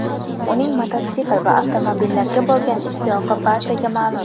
Uning mototsikl va avtomobillarga bo‘lgan ishtiyoqi barchaga ma’lum.